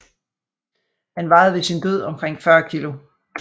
Han vejede ved sin død omkring 40 kg